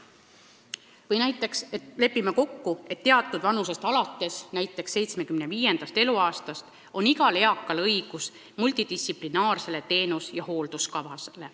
Või näiteks lepime kokku, et alates teatud vanusest, näiteks 75. eluaastast on igal eakal õigus saada multidistsiplinaarne teenus- ja hoolduskava.